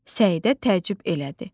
Səidə təəccüb elədi.